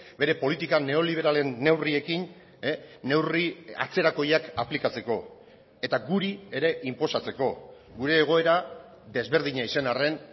bere politika neoliberalen neurriekin neurri atzerakoiak aplikatzeko eta guri ere inposatzeko gure egoera desberdina izan arren